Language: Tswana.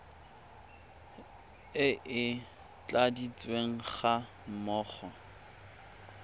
e e tladitsweng ga mmogo